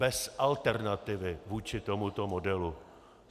Bez alternativy vůči tomuto modelu.